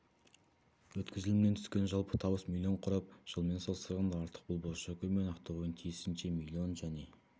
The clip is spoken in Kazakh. өткізілімнен түскен жалпы табыс миллион құрап жылмен салыстырғанда артық бұл бозшакөл мен ақтоғайдың тиісінше миллион және